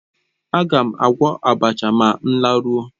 Agam agwọ́ abacha ma m laruo